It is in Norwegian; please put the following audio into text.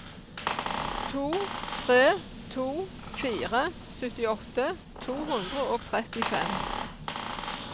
to tre to fire syttiåtte to hundre og trettifem